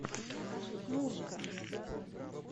мурка